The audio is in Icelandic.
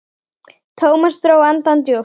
Thomas dró andann djúpt.